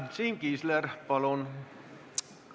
Siim Kiisler, palun!